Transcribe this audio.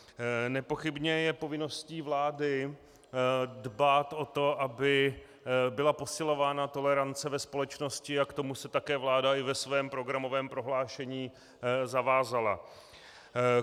Nepochybně je povinností vlády dbát o to, aby byla posilována tolerance ve společnosti, a k tomu se také vláda i ve svém programovém prohlášení zavázala.